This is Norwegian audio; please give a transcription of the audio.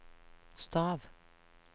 stav